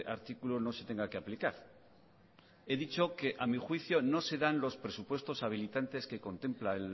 artículo no se tenga que aplicar he dicho que a mí juicio no se dan los presupuesto habilitantes que contempla